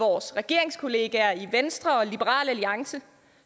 vores regeringskollegaer i venstre og liberal alliance